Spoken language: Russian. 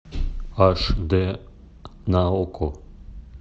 аш д на окко